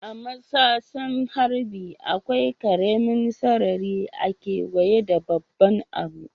A'matsasen harbi ,akwai karemin sarari a'keweye da babban abun.